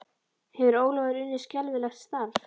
Hefur Ólafur unnið skelfilegt starf?